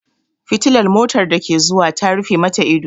Fitilar motar da ke zuwa ta rufe mata ido.